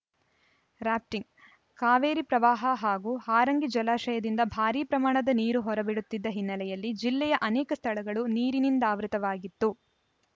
rafting Kaveri ಪ್ರವಾಹ ಹಾಗೂ ಹಾರಂಗಿ ಜಲಾಶಯದಿಂದ ಭಾರೀ ಪ್ರಮಾಣದಲ್ಲಿ ನೀರು ಹೊರಬಿಡುತ್ತಿದ್ದ ಹಿನ್ನೆಲೆಯಲ್ಲಿ ಜಿಲ್ಲೆಯ ಅನೇಕ ಸ್ಥಳಗಳು ನೀರಿನಿಂದಾವೃತವಾಗಿತ್ತು